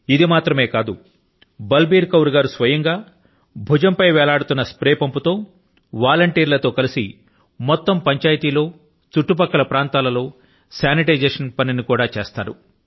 ఇది మాత్రమే కాదు బల్ బీర్ కౌర్ గారు స్వయం గా భుజం మీద వేలాడుతున్న స్ప్రే పంపు తో స్వచ్ఛంద సేవకుల తో కలసి మొత్తం పంచాయతీ లో చుట్టుపక్కల ప్రాంతాల లో శానిటైజేషన్ కూడా చేస్తారు